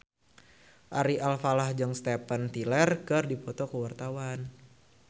Ari Alfalah jeung Steven Tyler keur dipoto ku wartawan